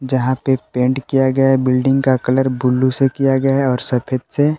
जहां पे पेंट किया गया है बिल्डिंग का कलर ब्ल्यू से किया गया है और सफेद से।